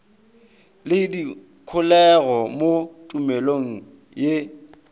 le dikholego mo tumelong ye